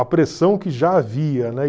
A pressão que já havia, né?